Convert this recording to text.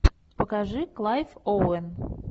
покажи клайв оуэн